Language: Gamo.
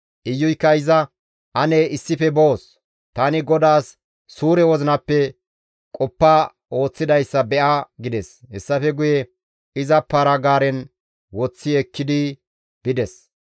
Iyuykka iza, «Ane issife boos; tani GODAAS suure wozinappe qoppa ooththidayssa be7a» gides. Hessafe guye iza para-gaaren woththi ekkidi bides.